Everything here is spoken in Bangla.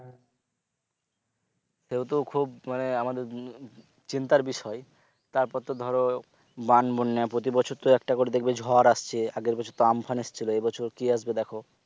সেহেতু খুব মানে আমাদের চিন্তার বিষয় তারপর তো ধরো বান বন্যা প্রতিবছর তো একটা একটা করে দেখবে ঝড় আসছে আগের বছর তো আমফান এসছিল এবছর কি আসবে দেখো